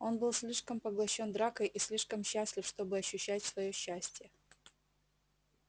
он был слишком поглощён дракой и слишком счастлив чтобы ощущать своё счастье